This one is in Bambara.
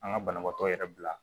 An ka banabaatɔ yɛrɛ bila